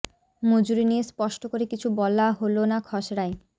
মজুরি নিয়ে স্পষ্ট করে কিছু বলা হল না খসড়ায়